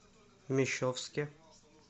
мещовске